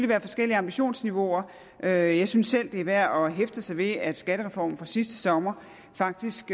være forskellige ambitionsniveauer jeg jeg synes selv det er værd at hæfte sig ved at skattereformen fra sidste sommer faktisk